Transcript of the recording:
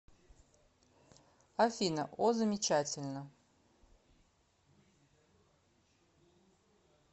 афина о замечательно